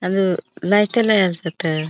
अजु लाईट असत.